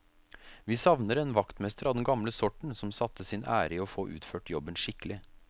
Vi savner en vaktmester av den gamle sorten, som satte sin ære i å få utført jobben skikkelig.